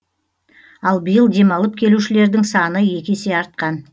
ал биыл демалып келушілердің саны екі есе артқан